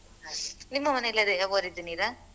ನಿಮ್ಮ ಮನೆಯಲ್ಲಿ ಅದೇ ಬೋರ್ ಇದ್ದು ನೀರಾ?